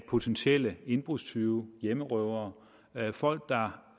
potentielle indbrudstyve hjemmerøvere folk der